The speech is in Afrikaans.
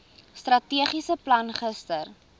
strategiese plan gister